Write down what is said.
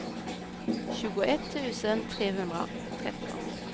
tjugoett tusen trehundratretton